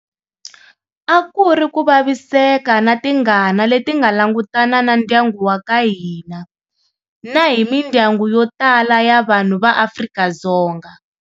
A ku ri ku vaviseka na tingana leti nga langutana na ndyangu wa ka hina, na hi mindyangu yo tala ya vanhu va Afrika-Dzonga.